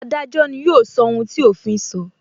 Adájọ́ ni yóò sọ ohun tí òfin so